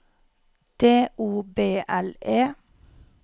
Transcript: D O B L E